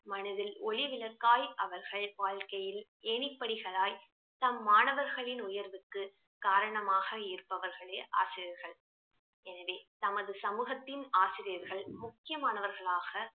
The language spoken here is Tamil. மனதில் ஒளிவிளக்காய் அவர்கள் வாழ்க்கையில் ஏணிப்படிகளாய் தம் மாணவர்களின் உயர்வுக்கு காரணமாக இருப்பவர்களே ஆசிரியர்கள் எனவே தமது சமூகத்தின் ஆசிரியர்கள் முக்கியமானவர்களாக